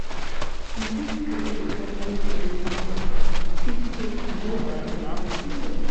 To fit create family tradition for house we fit take small celebration serious